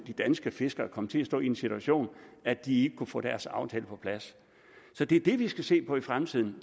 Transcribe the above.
de danske fiskere komme til at stå i den situation at de kunne få deres aftale på plads så det er det vi skal se på i fremtiden